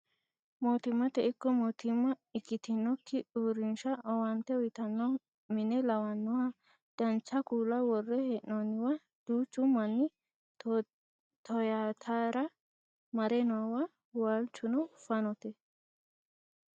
mootimmate ikko mootimma ikitinokki uurrinsha owaante uyiitanno mine lawannoha dancha kuula worre hee'noonniwa duuchu manni toyaatara mare noowa waalchuno fanote